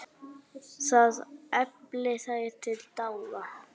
Það efli þær til dáða.